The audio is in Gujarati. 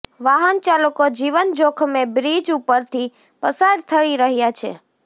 વાહન ચાલકો જીવન જોખમે બ્રિજ ઉપરથી પસાર થઈ રહ્યા છે